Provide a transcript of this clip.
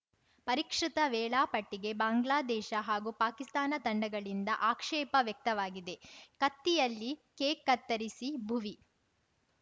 ಪರಿಷ್ಕೃತ ವೇಳಾಪಟ್ಟಿಗೆ ಬಾಂಗ್ಲಾದೇಶ ಹಾಗೂ ಪಾಕಿಸ್ತಾನ ತಂಡಗಳಿಂದ ಆಕ್ಷೇಪ ವ್ಯಕ್ತವಾಗಿದೆ ಕತ್ತಿಯಲ್ಲಿ ಕೇಕ್‌ ಕತ್ತರಿಸಿ ಭುವಿ